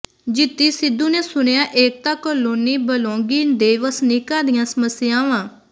ਜੀਤੀ ਸਿੱਧੂ ਨੇ ਸੁਣੀਆਂ ਏਕਤਾ ਕਲੋਨੀ ਬਲੌਂਗੀ ਦੇ ਵਸਨੀਕਾਂ ਦੀਆਂ ਸਮੱਸਿਆਵਾਂ